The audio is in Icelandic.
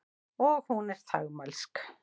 Og hún er þagmælsk.